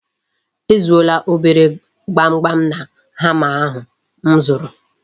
E zuola obere gbamgbam na hama ahụ m zụrụ.